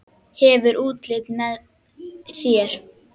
Hefur útlitið með þér.